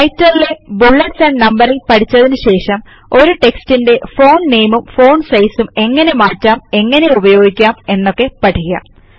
റൈറ്റർലെ bullets and numbering പഠിച്ചതിനു ശേഷം ഒരു റ്റെക്സ്റ്റ്ന്റെ ഫോണ്ട് nameഉം ഫോണ്ട് സൈസ് ഉം എങ്ങനെ മാറ്റാം എങ്ങനെ ഉപയോഗിക്കാം എന്നൊക്കെ പഠിക്കാം